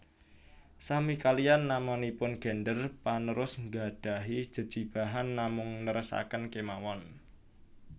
Sami kaliyan namanipun gender panerus nggadhahi jejibahan namung nerasaken kemawon